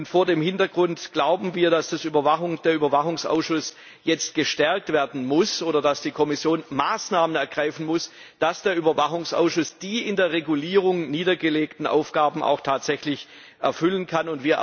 Vor diesem Hintergrund glauben wir, dass der Überwachungsausschuss jetzt gestärkt werden muss oder dass die Kommission Maßnahmen ergreifen muss, damit der Überwachungsausschuss die in der Verordnung niedergelegten Aufgaben auch tatsächlich erfüllen kann.